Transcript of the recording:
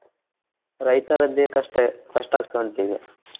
ರೈತರೇದ್ದೆೇ ಕಷ್ಟ ಕಷ್ಟಾಗ್ತ ಉಂಟು ಈಗ